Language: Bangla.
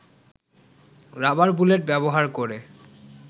রাবার বুলেট ব্যবহার করে